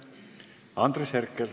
Andres Herkel.